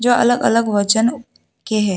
अलग अलग वजन के हैं।